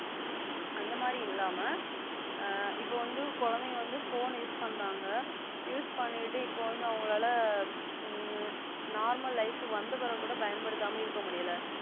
அந்த மாதிரி இல்லாம ஆ இப்போ வந்து குழந்தைங்க வந்து Phone use பண்றங்க. Use பண்ணிட்டு இப்போ வந்து அவங்களால ம் Normal life வந்த பிறகு கூட பயன்படுத்தாமல் இருக்க முடியல.